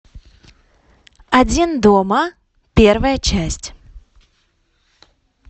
один дома первая часть